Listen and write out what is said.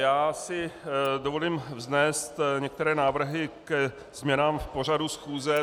Já si dovolím vznést některé návrhy ke změnám v pořadu schůze.